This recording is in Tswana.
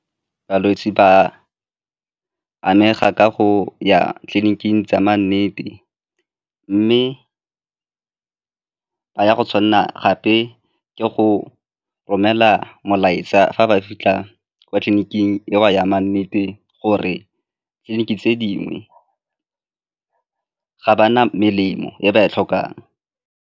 Balwetse ba amega ka go ya tleliniking tsa ma nnete mme ba ya tshwanelwa gape ke go romela molaetsa fa ba fitlha kwa tleliniking yo a yame nnete gore tleliniki tse dingwe ga ba na melemo e ba e tlhokang.